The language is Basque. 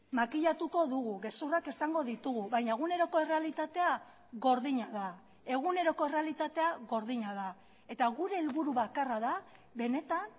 makillatuko dugu gezurrak esango ditugu baina eguneroko errealitatea gordina da eguneroko errealitatea gordina da eta gure helburu bakarra da benetan